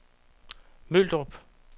Møldrup